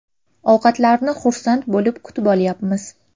Ovqatlarni xursand bo‘lib kutib olyapmiz.